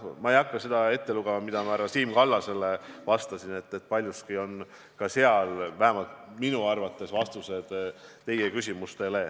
Ja ma ei hakka seda ette lugema, mida ma härra Siim Kallasele vastasin, aga paljuski on ka seal – vähemalt minu arvates – vastused teie küsimustele.